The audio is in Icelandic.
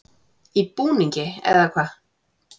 Í búningi, eða hvað?